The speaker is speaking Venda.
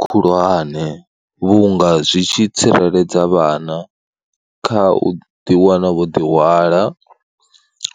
Khulwane vhunga zwi tshi tsireledza vhana kha u ḓiwana wo ḓihwala,